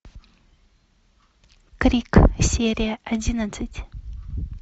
крик серия одиннадцать